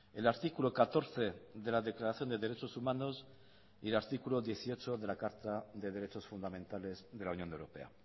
el artículo catorce de la declaración de derechos humanos y el artículo dieciocho de la carta de derechos fundamentales de la unión europea